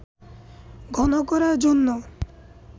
ঘন করার জন্য